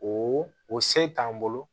O o se t'an bolo